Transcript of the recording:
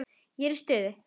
Ef ég er í stuði.